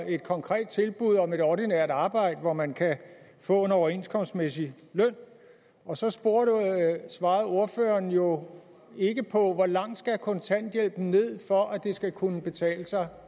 et konkret tilbud om et ordinært arbejde hvor man kan få en overenskomstmæssig løn og så svarede ordføreren jo ikke på hvor langt kontanthjælpen skal ned for at det skal kunne betale sig